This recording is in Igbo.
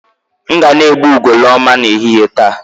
M ga na-egbu ugoloọma n'ehihie taa